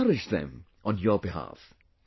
I will encourage them on your behalf